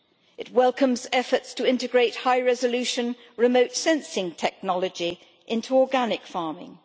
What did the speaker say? It welcomes efforts to integrate high resolution remote sensing technology into organic farming.